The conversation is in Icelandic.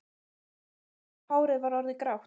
En ljósa hárið var orðið grátt.